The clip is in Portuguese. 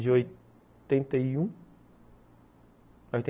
De oitenta e um a oitenta